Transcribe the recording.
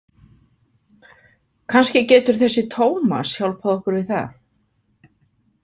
Kannski getur þessi Tómas hjálpað okkur við það.